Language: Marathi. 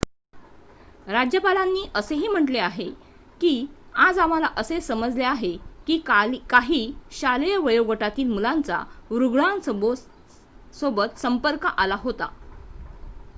"राज्यपालांनी असेही म्हटले आहे की "आज आम्हाला असे समजले आहे की काही शालेय वयोगटातील मुलांचा रुग्णासोबत संपर्क आला होता.""